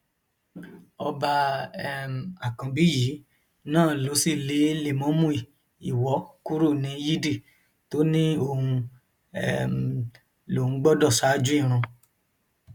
ọba um àkànbí yìí náà ló sì lè lẹmọọmù iwọ kúrò ní yídì tó ní òun um lòún gbọdọ ṣáájú irun